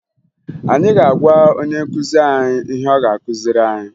Anyị ga-agwa onye nkụzi anyị ihe ọ ga-akụziri anyị